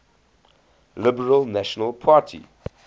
liberal national party